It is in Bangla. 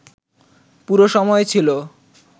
পুরো সময় ছিল